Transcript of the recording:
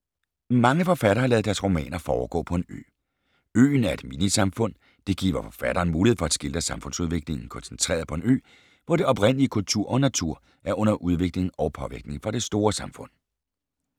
Mange forfattere har ladet deres romaner foregå på en ø. Øen er et minisamfund. Det giver forfatteren mulighed for at skildre samfundsudviklingen koncentreret på en ø, hvor det oprindelige i kultur og natur er under udvikling og påvirkning fra det store samfund.